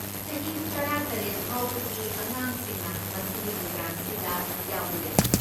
ꯆꯍꯤ ꯇꯔꯥꯇꯔꯦꯠ ꯐꯥꯎꯕꯒꯤ ꯑꯉꯥꯡꯁꯤꯡꯅ ꯃꯁꯤꯒꯤ ꯄ꯭ꯔꯣꯒ꯭ꯔꯥꯝꯁꯤꯗ ꯌꯥꯎꯕ ꯌꯥꯏ꯫